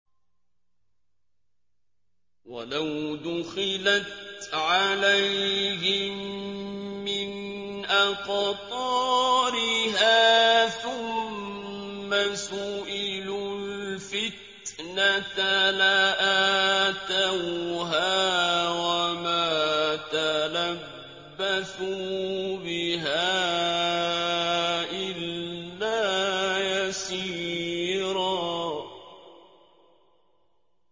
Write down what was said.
وَلَوْ دُخِلَتْ عَلَيْهِم مِّنْ أَقْطَارِهَا ثُمَّ سُئِلُوا الْفِتْنَةَ لَآتَوْهَا وَمَا تَلَبَّثُوا بِهَا إِلَّا يَسِيرًا